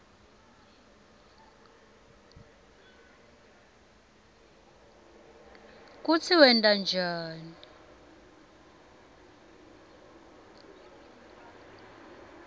kutsi wenta njani